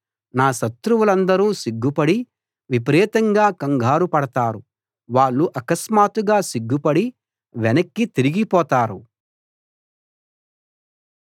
నా శత్రువులందరూ సిగ్గుపడి విపరీతంగా కంగారు పడతారు వాళ్ళు అకస్మాత్తుగా సిగ్గుపడి వెనక్కి తిరిగిపోతారు